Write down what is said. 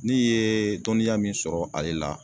Ne yɛɛ dɔniya min sɔrɔ ale la